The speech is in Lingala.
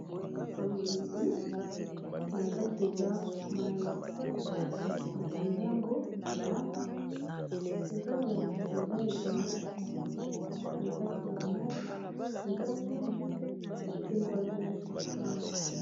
Bamolangi na kati eza mayi bakangi yango malamu eza molangi mpenza ebele na kati ba mayi eza mingi batiye yango wana nyonso esika moko